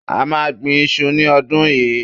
A máa gbin iṣu ní ọdún yìí